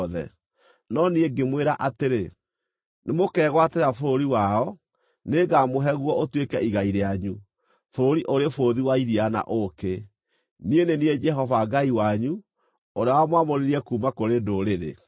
No niĩ ngĩmwĩra atĩrĩ, “Nĩmũkegwatĩra bũrũri wao; nĩngamũhe guo ũtuĩke igai rĩanyu, bũrũri ũrĩ bũthi wa iria na ũũkĩ.” Niĩ nĩ niĩ Jehova Ngai wanyu, ũrĩa wamwamũrire kuuma kũrĩ ndũrĩrĩ.